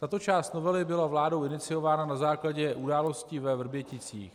Tato část novely byla vládou iniciována na základě událostí ve Vrběticích.